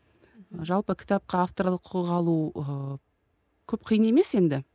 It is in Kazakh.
жалпы кітапқа авторлық құқық алу ыыы көп қиын емес енді